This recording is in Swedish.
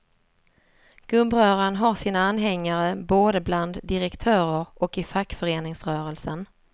Gubbröran har sina anhängare både bland direktörer och i fackföreningsrörelsen.